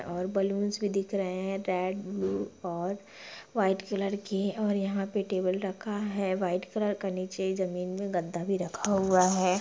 और बैलून्स भी दिख रहें हैं रेड ब्लू और व्हाइट कलर की और यहाँ पे टेबुल रखा है व्हाइट कलर का नीचे जमीन में गद्दा भी रखा हुआ है।